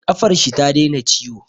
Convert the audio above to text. Ƙafar shi ta daina ciwo